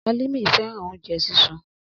Alimi fẹran ounjẹ sisun.